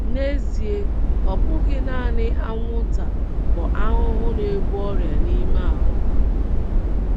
N’ezie um, um ọ bụghị nanị anwụnta bụ ahụhụ na - ebu ọrịa n’ime ahụ́ um ha.